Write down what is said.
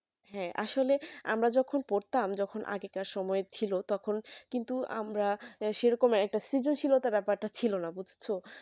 হ্যাঁ আসলে আমরা যখন পড়তাম যখন আগেকার সময় ছিল তখন কিন্তু আমরা সে রকম একটা সিজুশীলতা বেপারটা ছিল না বুজছো